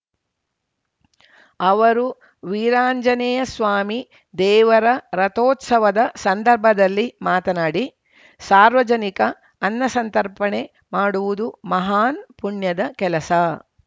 ಅವರು ವೀರಾಂಜನೇಯ ಸ್ವಾಮಿ ದೇವರ ರಥೋತ್ಸವದ ಸಂದರ್ಭದಲ್ಲಿ ಮಾತನಾಡಿ ಸಾರ್ವಜನಿಕ ಅನ್ನಸಂತರ್ಪಣೆ ಮಾಡುವುದು ಮಹಾನ್‌ ಪುಣ್ಯದ ಕೆಲಸ